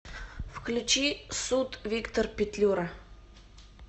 включи суд виктор петлюра